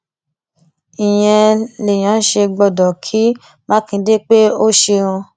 ìyẹn lèèyàn ṣe gbọdọ kí mákindé pé ó ṣeun